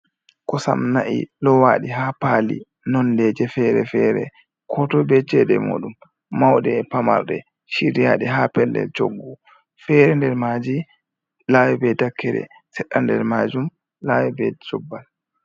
Koosam na'i lowaɗi ha paali nondeje fere-fere, ko toi be ceede moɗum mauɗe e pamarlɗe, chiriyaɗe ha pellel choggu feere nder maaji lawi be dakkere sedda nder majum lawi be chobbal.